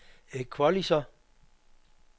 equalizer